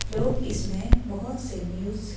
लोग इसमें बहुत से न्यूज़ --